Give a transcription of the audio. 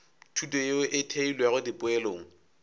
thuto yeo e theilwego dipoelong